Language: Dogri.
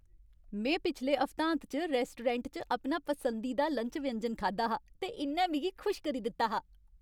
में पिछले हफ्तांत च रैस्टोरैंट च अपना पसंदीदा लंच व्यंजन खाद्धा हा, ते इ'न्नै मिगी खुश करी दित्ता हा।